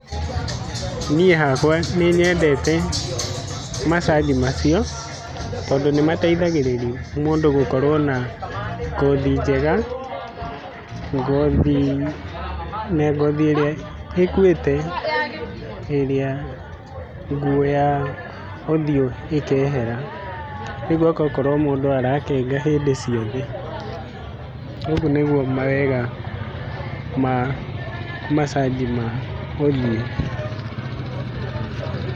Niĩ hakwa nĩnyedete macanji macio tondũ nĩmateithagĩrĩria mũndũ gũkorwo na ngothi njega, ngothi, na ngothi ĩrĩa ĩkuĩte, ĩrĩa nguũ ya ũthio ĩkehera rĩu gũgakorwo mũndũ arakenga hĩndĩ ciothe. ũguo nĩguo mawega ma macanji ma ũthiũ.